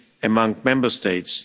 among Member States.